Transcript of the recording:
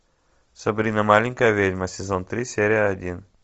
сабрина маленькая ведьма сезон три серия один